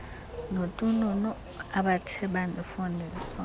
notununu abathe bandifundisa